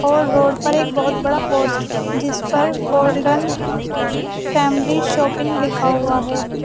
और रोड पर एक बहोत बड़ा पोस्ट जिस पर गोल्डन फैमिली शॉपिंग लिखा हुआ है।